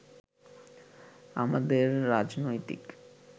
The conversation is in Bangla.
আমাদের রাজনৈতিক